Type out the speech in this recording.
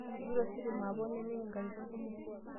Kegira ositima apok neimin nkatitin kumok.